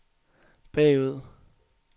bagud